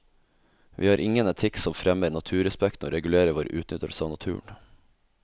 Vi har ingen etikk som fremmer naturrespekten og regulerer vår utnyttelse av naturen.